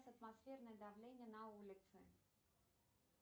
атмосферное давление на улице